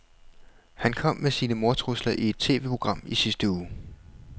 Han kom med sine mordtrusler i et TVprogram i sidste uge.